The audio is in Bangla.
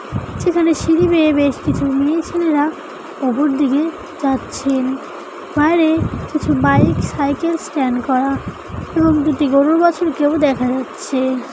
যেখানে সিঁড়ি বেয়ে বেশ কিছু মেয়ে ছেলেরাউপর দিকে যাচ্ছে বাইরে কিছু বাইক সাইকেল স্ট্যান্ড করা এবং দুটি গরু বাছুরকেও দেখা যাচ্ছে